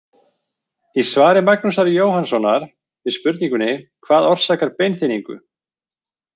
Í svari Magnúsar Jóhannssonar við spurningunni Hvað orsakar beinþynningu?